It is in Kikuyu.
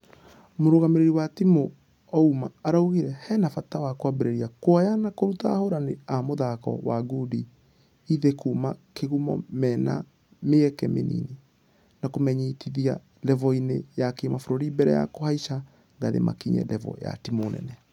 Mũrugamĩrĩri wa timũ ouma araugire hena bata wa kwambĩrĩria kuoya na kũruta ahũrani a mũthako wa ngundi ĩthĩ kuuma kĩgumo mĩna mĩaka mĩnini . Na kũmamenyithia revo-inĩ ya kĩmabũrũri mbere ya kũhaisha ngathĩ makinye revo ya timũ nene.